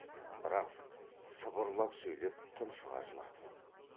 бірақс сыбырлап сөйлеп тұншыға жылады